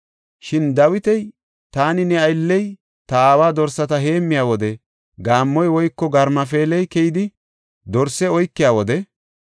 Shin Dawiti, “Taani, ne aylley ta aawa dorsata heemmiya wode gaammoy woyko garmafeeley keyidi dorse oykiya wode,